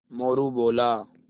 मोरू बोला